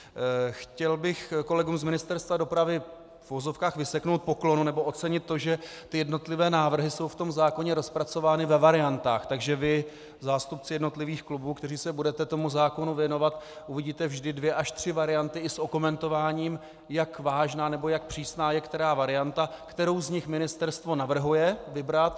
Chtěl bych kolegům z Ministerstva dopravy v uvozovkách vyseknout poklonu nebo ocenit to, že ty jednotlivé návrhy jsou v tom zákoně rozpracovány ve variantách, takže vy, zástupci jednotlivých klubů, kteří se budete tomu zákonu věnovat, uvidíte vždy dvě až tři varianty i s okomentováním, jak vážná nebo jak přísná je která varianta, kterou z nich ministerstvo navrhuje vybrat.